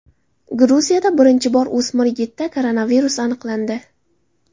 Gruziyada birinchi bor o‘smir yigitda koronavirus aniqlandi.